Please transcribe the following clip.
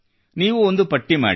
ನೀವು ಒಂದು ಪಟ್ಟಿ ಮಾಡಿ